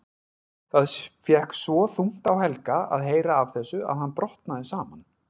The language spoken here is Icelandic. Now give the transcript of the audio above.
Það fékk svo þungt á Helga að heyra af þessu að hann brotnaði saman.